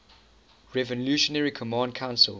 revolutionary command council